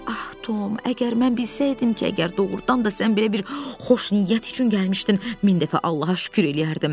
Ax Tom, əgər mən bilsəydim ki, əgər doğrudan da sən belə bir xoş niyyət üçün gəlmişdin, min dəfə Allaha şükür eləyərdim.